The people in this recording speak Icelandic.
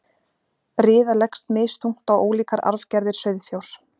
Riða leggst misþungt á ólíkar arfgerðir sauðfjár.